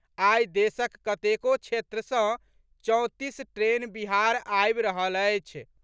आई देशक कतेको क्षेत्र सँ चौंतीस ट्रेन बिहार आबि रहल अछि।